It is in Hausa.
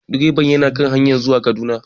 Direban yana kan hanyar zuwa Kaduna